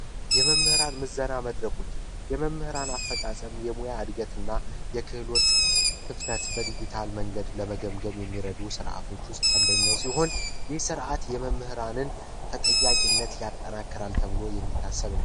የመምህራን ምዘና መድረኮች የመምህራን አፈፃፀም፣ የሙያ እድገት እና የክህሎት ክፍተት በዲጂታል መንገድ ለመገምገም የሚረዱ የዲጅታል አንደኛው ሲሆን በስርዓት የመምህራን ተጠያቂነት ይጠናከራል ተብሎ የሚታሰብ ነው።